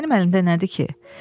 Mənim əlimdə nədir ki?